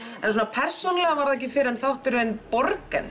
persónulega var það ekki fyrr en danski þátturinn